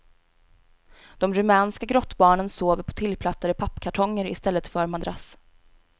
De rumänska grottbarnen sover på tillplattade pappkartonger i stället för madrass.